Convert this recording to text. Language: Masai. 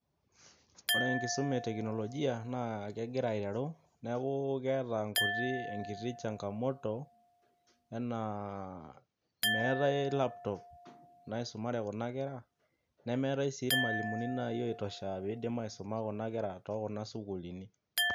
Ore enkisuma e teknolojia neton aa kegira aiteru neeku Eton eeta nkuti changamoto enaa meetai laptop naisumare kuna kera nemeetai sii irmalimuni oitosha oidim aisuma kuna kera tookuna sukuuluni.